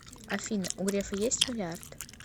афина у грефа есть миллиард